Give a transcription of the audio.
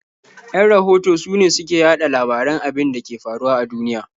Yan rahoto sune su ke yaɗa labaran abin da ke faruwa a duniya.